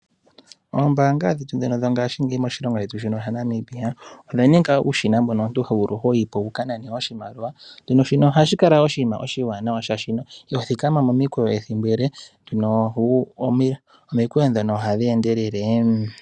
Ombaanga dhetu ndhino dho ngaashingeyi moshilongo shetu shino sha Namibia odha ninga uushina mbono omuntu ho vulu hoyi po wu ka nane oshimaliwa. Shino ohashi kala oshinima oshiwanawa, oshoka iho thikama momikweyo ethimbo ele, omikweyo ndhono ohadhi endelele.